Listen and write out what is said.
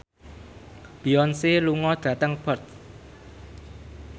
Beyonce lunga dhateng Perth